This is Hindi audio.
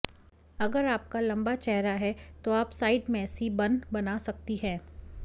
अगर आपका लंबा चेहरा है तो आप साइड मैसी बन बना सकती है